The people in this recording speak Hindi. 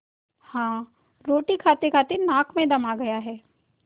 हाँ रोटी खातेखाते नाक में दम आ गया है